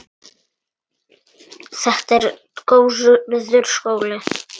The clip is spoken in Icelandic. Þetta var góður skóli.